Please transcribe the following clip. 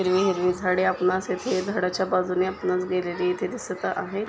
हिरवी हिरवी झाडे आपणास इथे झाडाच्या बाजूने आपणास गेलेली इथे दिसत आहे.